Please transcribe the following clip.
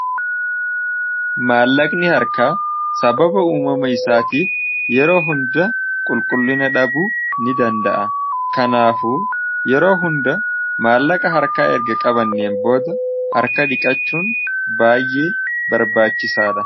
maallaqni harka sababa uumama isaatiif yeroo hunda qulqullina dhabuu ni danda'a kanaafu yeroo hunda maallaqa harkaa erga qabanneen booda harka dhiqachuun baayyee barbaachisaadhaa